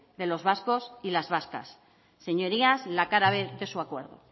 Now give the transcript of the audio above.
de los vascos y las vascas señorías la cara b de su acuerdo